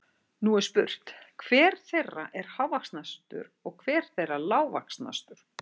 Nú er spurt, hver þeirra er hávaxnastur og hver þeirra er lágvaxnastur?